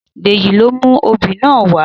Dèjì ló mú obì náà wá